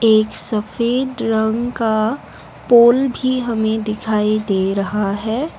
एक सफेद रंग का पोल भी हमे दिखाई दे रहा है।